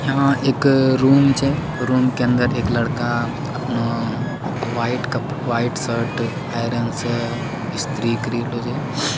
यहाँ रूम छय रूम के अंदर एक लड़का अपना वाइट शर्ट आयरन स्त्री करइले छय।